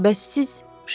Bəs siz, Şarni?